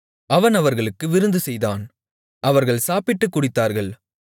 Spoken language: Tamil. அவன் அவர்களுக்கு விருந்துசெய்தான் அவர்கள் சாப்பிட்டுக் குடித்தார்கள்